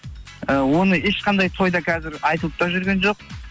і оны ешқандай тойда қазір айтылып та жүрген жоқ